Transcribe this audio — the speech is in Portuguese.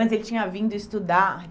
Antes ele tinha vindo estudar.